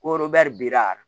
Ko bira